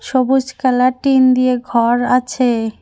সবুজ colour tin দিয়ে ঘর আছে।